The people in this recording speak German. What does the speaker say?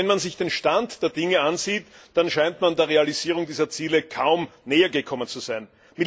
Aber wenn man sich den Stand der Dinge ansieht, dann scheint man der Realisierung dieser Ziele kaum nähergekommen zu sein.